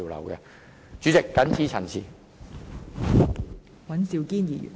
代理主席，我謹此陳辭。